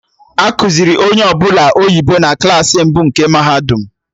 Ekuziri onye ọbụla oyibo na Klassị mbụ nke mahadum